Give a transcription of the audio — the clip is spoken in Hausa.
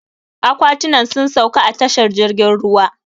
Aƙwatinan sun sauƙa a tashar jirgin ruwa.